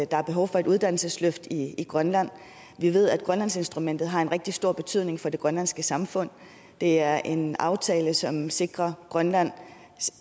der er behov for et uddannelsesløft i grønland vi ved at grønlandsinstrumentet har en rigtig stor betydning for det grønlandske samfund det er en aftale som sikrer grønland